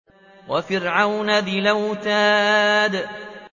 وَفِرْعَوْنَ ذِي الْأَوْتَادِ